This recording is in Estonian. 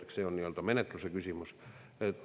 Eks see ole menetluse küsimus.